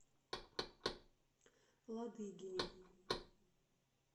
ладыгине